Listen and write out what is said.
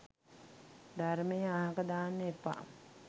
ධර්මය අහක දාන්න එපා